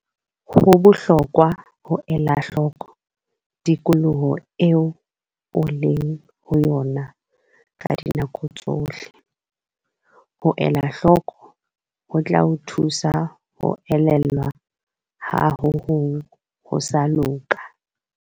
Ho bohlokwa ho ela hloko tikoloho eo o leng ho yona ka dinako tsohle. Ho elahloko ho tla o thusa ho elellwa ha ho hong ho sa loka.